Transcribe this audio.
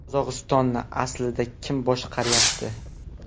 Qozog‘istonni aslida kim boshqaryapti?